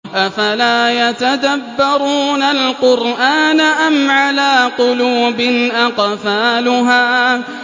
أَفَلَا يَتَدَبَّرُونَ الْقُرْآنَ أَمْ عَلَىٰ قُلُوبٍ أَقْفَالُهَا